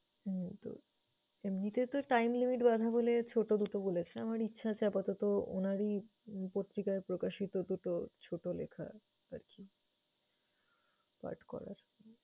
হুম তো, এমনিতে তো time limit বাধা বলে ছোট দুটো বলেছে। আমার ইচ্ছা আছে আপাতত উনারই উম পত্রিকায় প্রকাশিত দুটো ছোট লেখা আরকি পাঠ করার।